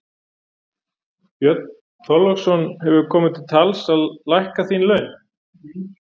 Björn Þorláksson: Hefur komið til tals að lækka þín laun?